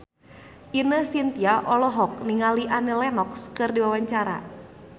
Ine Shintya olohok ningali Annie Lenox keur diwawancara